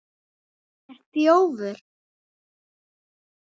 HANN ER ÞJÓFUR!